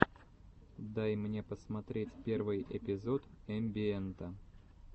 дай мне посмотреть первый эпизод эмбиэнта